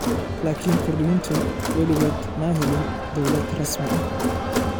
Laakin Kurdiyiintu weligood ma helin dawladooda rasmiga ah.